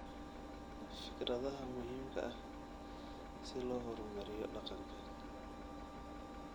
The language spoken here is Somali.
Fikradaha muhiimka ah si loo horumariyo dhaqanka